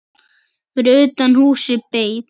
Fyrir utan húsið beið